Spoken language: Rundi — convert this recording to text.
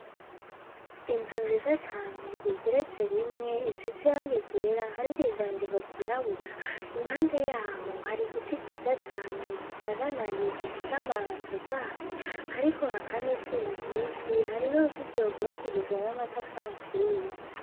Inzu nziza cane igeretse rimwe izize irangi ryera hariko ivyandiko vyirabura, impande yaho hari igiti ciza cane gisananaye gifise amababi atotahaye ,hariko haka n'izuba ryinshi hari n'uruzitiro rw'ubakishijwe n'amatafari aturiye.